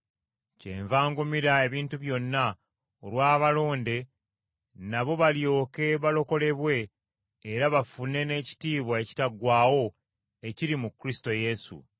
Kyenva ngumira ebintu byonna olw’abalonde nabo balyoke balokolebwe era bafune, n’ekitiibwa ekitaggwaawo ekiri mu Kristo Yesu.